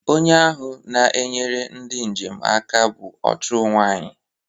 Onye ahụ na-enyere ndị njem aka bụ ọ chụụ nwanyị